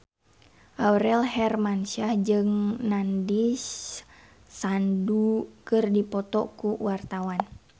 Aurel Hermansyah jeung Nandish Sandhu keur dipoto ku wartawan